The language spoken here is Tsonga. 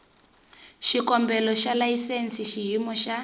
xikombelo xa layisense xiyimo xa